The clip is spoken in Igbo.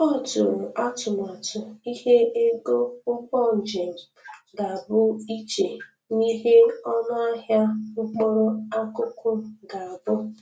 O tụrụ atụmatụ ihe ego ụgbọ njem ga-abụ iche n'ihe onụ ahịa mkpụrụ akụkụ ga-abụ.